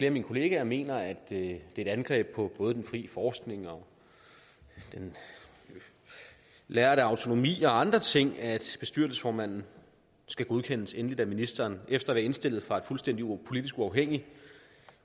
af mine kollegaer mener at det er et angreb på både den frie forskning og den lærde autonomi og andre ting at bestyrelsesformanden skal godkendes endeligt af ministeren efter at være indstillet fra et fuldstændig politisk uafhængigt